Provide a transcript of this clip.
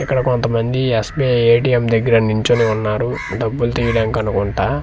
ఇక్కడ కొంతమంది SBI ATM దగ్గర నించొని ఉన్నారు డబ్బులు తీయడానికనుకుంటా.